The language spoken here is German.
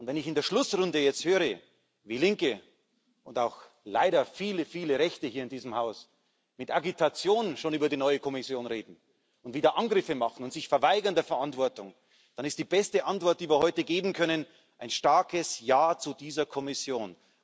Und wenn ich in der Schlussrunde jetzt höre, wie Linke und auch leider viele, viele Rechte hier in diesem Haus schon Agitation gegen die neue Kommission betreiben und wieder Angriffe starten und sich der Verantwortung verweigern, dann ist die beste Antwort, die wir heute geben können, ein starkes Ja zu dieser Kommission.